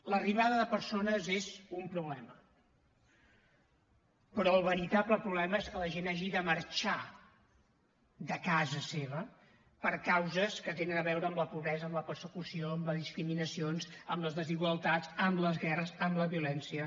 l’arribada de persones és un problema però el veritable problema és que la gent hagi de marxar de casa seva per causes que tenen a veure amb la pobresa amb la persecució amb les discriminacions amb les desigualtats amb les guerres amb la violència